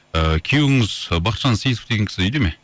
ыыы күйеуіңіз бахытжан сейітов деген кісі үйде ме